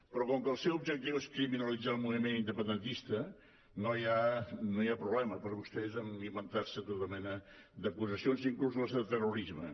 però com que el seu objectiu és criminalitzar el moviment independentista no hi ha problema per vostès amb inventar·se tota mena d’acusacions inclús les de terro·risme